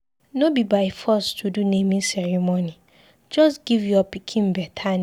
No be by force to do Naming ceremony. Just give your pikin better name.